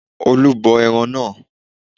Olú bọ ẹran náà